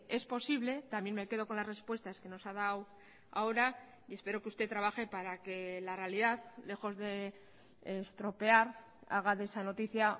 es posible también me quedo con las respuestas que nos ha dado ahora y espero que usted trabaje para que la realidad lejos de estropear haga de esa noticia